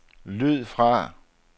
lyd fra